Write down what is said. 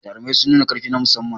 Jarumai suna nuna ƙarfi na musamman.